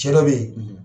Cɛ dɔ be yen